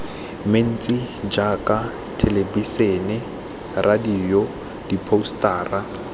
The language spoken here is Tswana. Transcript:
mentsi jaaka thelebisene radio diphousetara